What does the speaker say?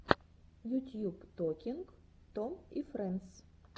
ютьюб токинг том и френдс